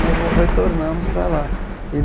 Nós vol retornamos para lá. Ele